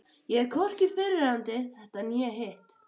Ég er hvorki fyrrverandi þetta né hitt.